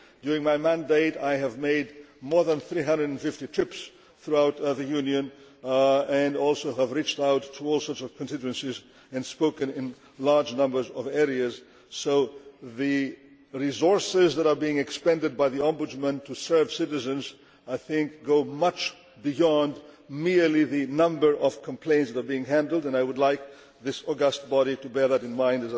During my mandate, I have made more than 350 trips throughout the Union, and also have reached out to all sorts of constituencies and spoken in large numbers of areas. So the resources that are being expended by the Ombudsman to serve citizens go far beyond merely the number of complaints that are handled, and I would like this august body to bear that in mind.